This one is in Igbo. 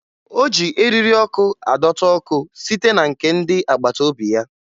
O ji eriri ọkụ adọta ọkụ site na nke ndị agbataobi ya